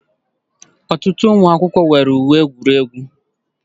Ọtụtụ ụmụ akwụkwọ nwere uwe egwuregwu